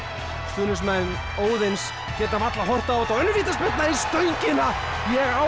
stuðningsmenn Óðins geta varla horft á þetta og vítaspyrna í stöngina ég á